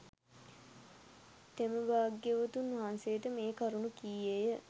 තෙම භාග්‍යවතුන් වහන්සේට මේ කරුණු කීයේය